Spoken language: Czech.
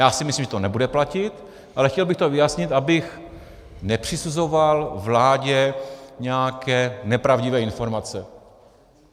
Já si myslím, že to nebude platit, ale chtěl bych to ujasnit, abych nepřisuzoval vládě nějaké nepravdivé informace.